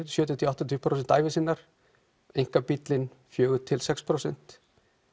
sjötíu til áttatíu prósent ævi sinnar einkabíllinn fjórum til sex prósent